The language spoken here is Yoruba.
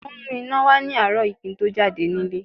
Wọ́n mú iná wá ní àárọ̀ yìí kí n tó jáde nílé